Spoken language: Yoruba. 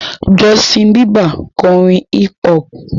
Justin Bieber ń kọrin hip-hop.